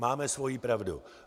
Máme svoji pravdu.